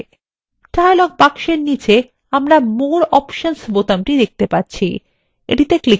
dialog box নীচে আমরা more options বোতামটি দেখতে পাচ্ছি এটি তে ক্লিক করুন